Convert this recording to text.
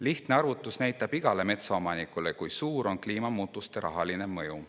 Lihtne arvutus näitab igale metsaomanikule, kui suur on kliimamuutuste rahaline mõju.